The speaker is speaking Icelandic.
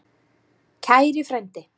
Kæri frændi!